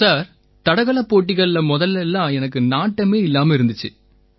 sir தடகளப் போட்டிகள்ல முதல்ல எல்லாம் எனக்கு நாட்டம் இல்லாம இருந்திச்சு